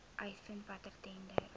uitvind watter tenders